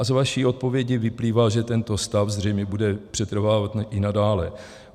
A z vaší odpovědi vyplývá, že tento stav zřejmě bude přetrvávat i nadále.